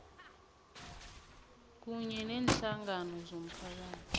kunye neenhlangano zomphakathi